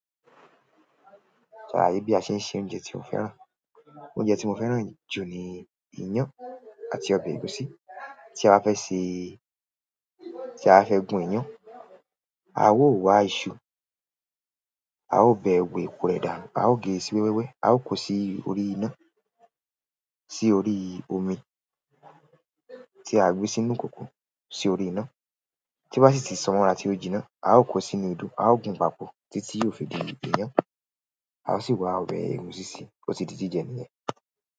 Ṣàlàyé bí a ṣe ń se oúnjẹ tí o fẹ́ràn. Oúnjẹ tí mo fẹ́ràn jù ni iyán àti ọbẹ̀ ẹ̀gúsí. Tí a bá fẹ́ se, tí a bá fẹ́ gun ìyán, a ó wa ìṣù, a ó bẹ wẹ̀, èpo ẹ dànú, a ó gé sí wẹ́wẹ́, a ó kó sí orí iná, sí orí omi tí a gbé sínú ìkòkò, sí orí iná. Tí bá sì tí sanrà tí ó jínà, a ó kó sínú odó, a ó gun papọ̀. Títí yóò fi di ìyán. A ó sì wá bẹ ẹ̀gúsí sí, ó ti di jíjẹ nìyẹn.